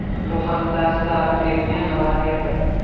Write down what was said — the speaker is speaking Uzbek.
Bu haqda Star Tribune xabar berdi .